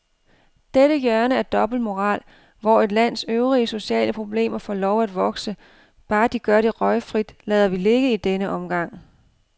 Dette hjørne af dobbeltmoral, hvor et lands øvrige sociale problemer får lov at vokse, bare de gør det røgfrit, lader vi ligge i denne omgang.